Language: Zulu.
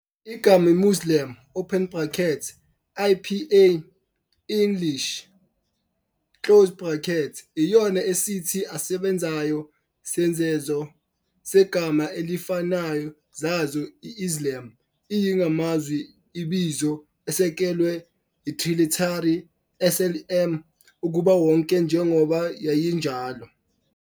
Igama "muslim" open brackets IPA- English, iyona esithi asebenzayo zesenzo segama elifanayo zazo "Islam" iyi ngamazwi ibizo, esekelwe triliteral "SLM" "ukuba wonke, njengoba yayinjalo."